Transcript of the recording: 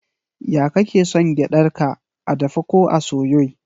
Ya kake son gyadar ka, a dafe ko a soye?